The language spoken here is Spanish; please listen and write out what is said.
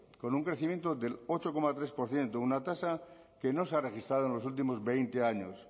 con un crecimiento del ocho coma tres por ciento una tasa que no se ha registrado en los últimos veinte años